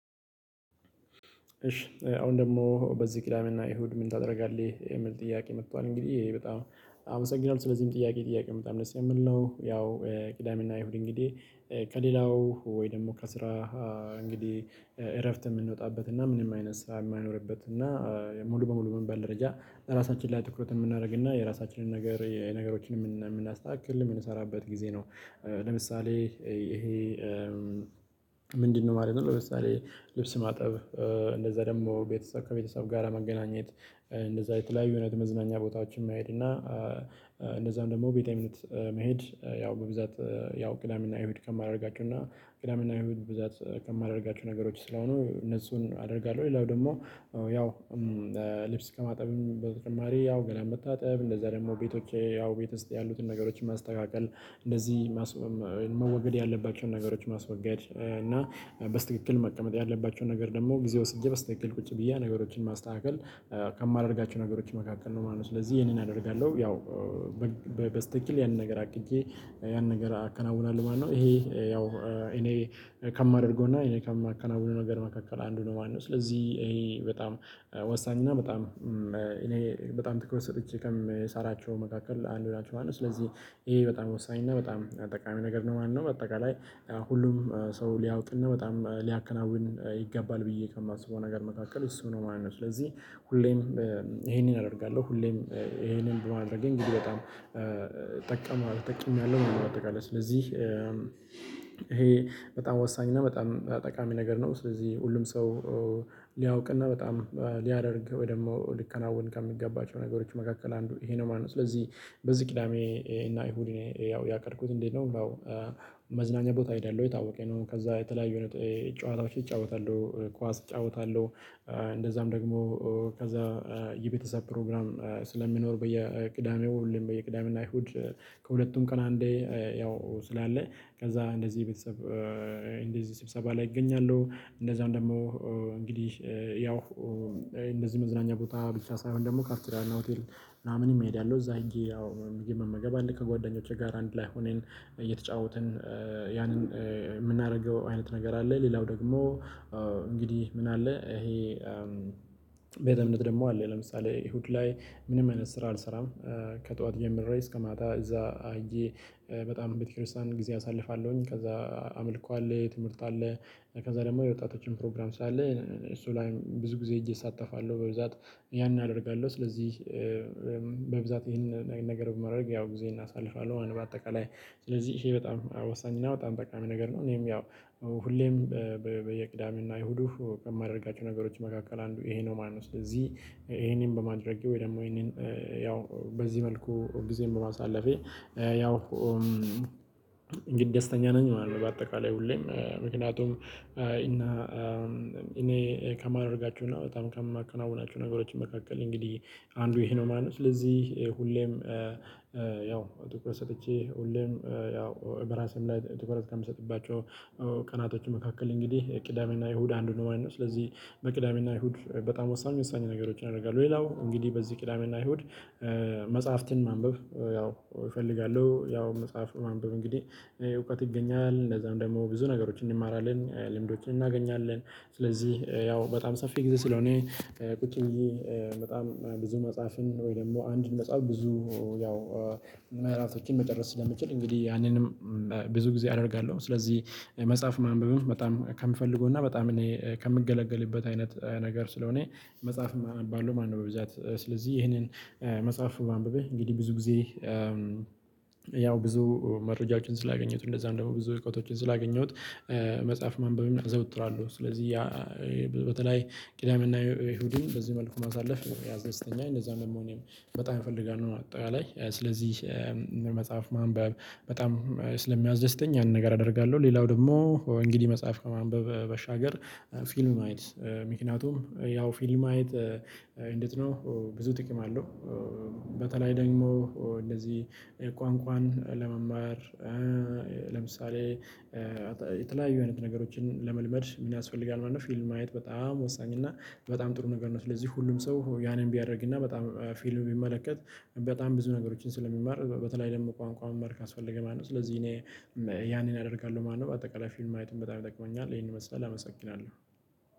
እሺ አሁን ደግሞ በዚህ ቅዳሜ እና ኢሁድ ምን ታደርጋለህ የምል ጥያቄ መጥቷል። እንግዲህ ይሄ በጣም አመሰግናለሁ ስለዚህም ጥያቄ ጥያቄ በጣም ደስ የምል ነው። ያው ቅዳሜና ይሁድ እንግዲህ ከሌላው ወይ ደግሞ ከስራ እንግዲህ እረፍት ምንወጣበት እና ምንም አይነት ስራ የማይኖርበት እና ሙሉ በሙሉ በሚባል ደረጃ ራሳችን ላይ ትኩረት የምናረግና የራሳችንን ነገር ነገሮች የምናስተካክል የምንሰራበት ጊዜ ነው። ለምሳሌ እሄ ምንድነው ማለት ነው። ለምሳሌ ልብስ ማጠብ። እንደዛ ደግሞ ከቤተሰብ ጋር መገናኘት። እንደዛ የተለያዩ አይነት መዝናኛ ቦታዎች መሄድ እና እንደዛም ደግሞ ቤቴእምነት መሄድ። ያው በብዛት ያው ቅዳሜና እሁድ ከማደርጋቸው ቅዳሜና እሁድ ብዛት ከማድረጋቸው ነገሮች ስለሆኑ እነሱን አደርጋለሁ። ሌላው ደግሞ ያው ልብስ ከማጠብም በተጨማሪ ያው ገላን መታጠብ እንደዛ ደግሞ ቤቶቼ ያው ቤት ውስጥ ያሉትን ነገሮችን ማስተካከል እንደዚህ መወገድ ያለባቸውን ነገሮች ማስወገድ እና በስተክክል መቀመጥ ያለባቸውን ነገር ደግሞ ጊዜ ወስጄ በስትክክል ቁጭ ብዬ ነገሮችን ማስተካከል። ከማደርጋቸው ነገሮች መካከል ነው ማለት ነው። ስለዚህ ይሄንን አደርጋለሁ። ያው በስተኪል ያንን ነገር አቅጀ ያንን ነገር አከናውናለሁ ማለት ነው። እሄ ያው እኔ ከማደርገውና እኔ ከማከናውነውነገር መካከል አንዱ ነው ማለት ነው። ስለዚህ ይሄ በጣም ወሳኝና በጣም እኔ በጣም ትኩረት ሰጥቼ ከምሰራቸው መካከል አንዱ ላችሁ ማለት ስለዚህ ይሄ በጣም ወሳኝ እና በጣም ጠቃሚ ነገር ነው። ማነው በአጠቃላይ ሁሉም ሰው ሊያውቅ እና በጣም ሊያከናውን ይገባል ብዬ ከማስበው ነገር መካከል እሱ ነው ማለት ነው። ስለዚህ ሁሌም ይሄንን አደርጋለሁ ሁሌም ይሄንን በማድረጌ እንግዲህ በጣም ጠቀመዋል ጠቅሜያለሁ ማለት ነው። ባጠቃላይ ስለዚህ ይሄ በጣም ወሳኝ እና በጣም ጠቃሚ ነገር ነው። ስለዚህ ሁሉም ሰው ሊያውቅና በጣም ሊያደርግ ወይ ደግሞ ሊከናወን ከሚገባቸው ነገሮች መካከል አንዱ ይሄ ነው ማለት ነው። ስለዚህ በዚህ ቅዳሜ እና እሁድ ያው ያቀድኩት እንዴት ነው? መዝናኛ ቦታ አይደለሁ ይታወቀ ነው ከዛ የተለያዩ ጨዋታዎች እጫወታለሁ ኳስ እጫወታለሁ። እንደዛም ደግሞ ከዛ የቤተሰብ ፕሮግራም ስለሚኖር በየቅዳሜው ሁሌም በየቅዳሜና እሁድ ከሁለቱም ቀን አንዴ ያው ስላለ ከዛ እንደዚህ ቤተሰብ እንደዚህ ስብሰባ ላይ እገኛለሁ። እንደዛው ደግሞ እንግዲህ ያው እንደዚህ መዝናኛ ቦታ ብቻ ሳይሆን ደግሞ ካፍቴሪያና ሆቴል ምናምንም እሄዳለሁ እዛ ሄጀ ያው ምግብ መመገብ አለ ከጓደኞቼ ጋር አንድ ላይ ሆነን እየተጫወትን። ያንን የምናደርገው አይነት ነገር አለ። ሌላው ደግሞ እንግዲህ ምን አለ ይሄ? ቤተእምነት ደግሞ አለ ለምሳሌ እሁድ ላይ ምንም አይነት ስራ አልሰራም። ከጠዋት ጀምሬ እስከ ማታ እዛ ሄጀ በጣም ቤተክርስቲያን ጊዜ አሳልፋለሁኝ ከዛ አምልኮ አለ ትምህርት አለ። ከዛ ደግሞ የወጣቶች ፕሮግራም ስላለ እሱ ላይ ብዙ ጊዜ እሳተፋለሁ በብዛት ያን አደርጋለሁ። ስለዚህ በብዛት ይሄንን አይነት ነገር በማድረግ ያው ጊዜ አሳልፋለሁ በአጠቃላይ ስለዚህ እሄ በጣም ወሳኝ ነው። በጣም ጠቃሚ ነገር ነው እኔም ያው ሁሌም በየቅዳሜና አይሁዱ ከማደርጋቸው ነገሮች መካከል አንዱ ይሄ ነው ማለት ነው። ስለዚህ ይሄንን በማድረጌ ወይ ደግሞ ይሄንን ያው በዚህ መልኩ ጊዜም በማሳለፌ ያው እንግዲህ ደስተኛ ነኝ ማለት ነው። በአጠቃላይ ሁሌም ምክንያቱም እና እኔ ከማደርጋችሁና በጣም ከማከናወናችሁ ነገሮች መካከል እንግዲህ አንዱ ይሄ ነው። ማለት ስለዚህ ሁሌም ያው ትኩረት ሰጥቼ ሁሌም ያው በራሴም ላይ ትኩረት ከምሰጥባቸው ቀናቶቹ መካከል እንግዲህ የቅዳሜና እሁድ አንዱ ነው የማየው ስለዚህ። በቅዳሜና እሁድ በጣም ወሳኝ ወሳኝ ነገሮችን አደርጋለው። ሌላው እንግዲህ በዚህ ቅዳሜና እሁድ መጽሐፍትን ማንበብ ያው እፈልጋለሁ ያው መጽሐፍ ማንበብ እንግዲህ እውቀት ይገኛል። እንደዛም ደግሞ ብዙ ነገሮችን እንማራለን ልምዶችን እናገኛለን። ስለዚህ ያው በጣም ሰፊ ጊዜ ስለሆነ ቁጭ ብዬ በጣም ብዙ መጽሐፍን ወይ ደግሞ አንድ መጽሐፍ ብዙ ያው መራፍቶችን መጨረስ ስለምችል እንግዲህ ያንንም ብዙ ጊዜ አደርጋለሁ። ስለዚህ መጽሐፍ ማንበብም በጣም ከምፈልገው እና በጣም እኔ ከምገለገልበት አይነት ነገር ስለሆነ መጽሐፍም አነባለው ማለት ነው። በብዛት ስለዚህ ይህንን መጽሐፍ ማንበብህ እንግዲህ ብዙ ጊዜ ያው ብዙ መረጃዎችን ስላገኘሁት እንደዛም ደሞ ብዙ እውቀቶችን ስላገኘሁት መጽሐፍ ማንበብ አዘወትራለሁ። ስለዚህ ያ በተለይ ቂዳምና የኢሁዲን በዚህ መልኩ ማሳለፍ ያስደስዝተኛ እንደዛ መሆኔም በጣም እፈልጋለሁ። አጠቃላይ ስለዚህ መጽሐፍ ማንበብ በጣም ስለሚያስደዝተኝ ያንን ነገር አደርጋለሁ። ሌላው ደግሞ እንግዲህ መጽሐፍ ከማንበብ በሻገር ፊልም ማየት። ምክንያቱም ያው ፊልም ማየት እንዴት ነው? ብዙ ጥቅም አለው። በተለይ ደግሞ እንደዚህ ቋንቋን ለመማር ለምሳሌ የተለያዩ አይነት ነገሮችን ለመልመድ ምን ያስፈልጋል ማለት ነው። ፊልም ማየት በጣም ወሳኝ እና በጣም ጥሩ ነገር ነው። ስለዚህ ሁሉም ሰው ያንን ቢያደርግ እና በጣም ፊልም ቢመለከት በጣም ብዙ ነገሮችን ስለሚማር በተለይ ደግሞ ቋንቋውን ማመር ካስፈለገ ማለት ነው። ስለዚህ እኔ ያኔን አደርጋለሁ ማለት ነው። በጠቃላይ ፊልም ማየትም በጣም ይጠቅመኛል። ይሄን ይመስላል አመሰግናለሁ።